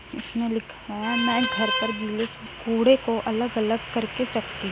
इसमें लिखा है मैं घर पर भी इस कूड़े को अलग- अलग करके रखती --